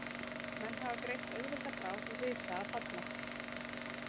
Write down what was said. Menn hafa greint auðvelda bráð, risa að falla.